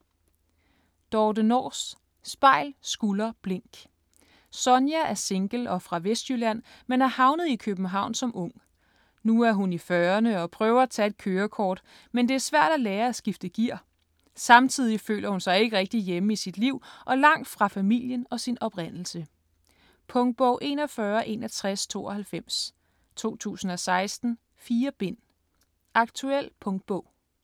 Nors, Dorthe: Spejl, skulder, blink Sonja er single og fra Vestjylland men er havnet i København som ung. Nu er hun i fyrrerne og prøver at tage et kørekort, men det er svært at lære at skifte gear. Samtidig føler hun sig ikke rigtig hjemme i sit liv og langt fra familien og sin oprindelse. Punktbog 416192 2016. 4 bind. Aktuel punktbog.